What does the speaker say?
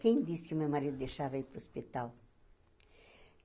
Quem disse que o meu marido deixava eu ir para o hospital?